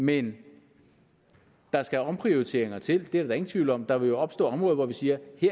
men der skal omprioriteringer til det er der da ingen tvivl om der vil jo opstå områder hvor vi siger